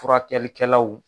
Furakɛli kɛlaw